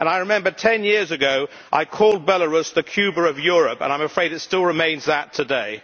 I remember that 10 years ago I called Belarus the Cuba of Europe, and I am afraid it still remains that today.